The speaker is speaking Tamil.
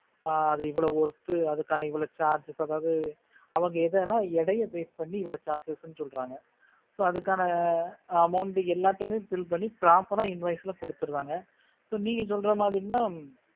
ஆஹ் அது இவ்வளவு worth அதுக்கான இவ்ளோ charge அதாவது அவங்க எதன்னா எடையை base பண்ணி இவளோ charges ன்னு சொல்றாங்க so அதுக்கான amount எல்லாத்தையும் bill பண்ணி proper ஆ invoice ல கொடுத்துராங்க so நீ சொல்ற மாதிரின்னா